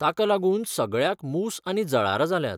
ताका लागून सगळ्याक मूस आनी जळारां जाल्यांत.